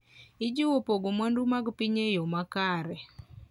ojiwo pogo mwandu mag piny e yo makare.